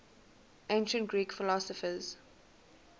ancient greek philosophers